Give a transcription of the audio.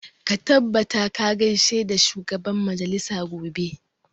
Ka tabbata ka gaishe da shugaban majalisa gobe!